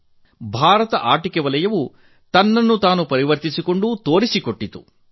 ಭಾರತ ಆಟಿಕೆ ವಲಯವು ತನ್ನನ್ನು ತಾನು ಪರಿವರ್ತಿಸಿಕೊಂಡು ತನ್ನ ಸಾಮರ್ಥ್ಯವನ್ನು ಸಾಬೀತುಪಡಿಸಿದೆ